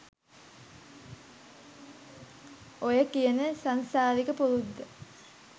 ඔය කියන සංසාරික පුරුද්ද